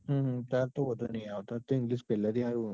હમ હમ તાર તો વાંધો ઈ આવે. તાર તો english પેલા થી હારું હ ન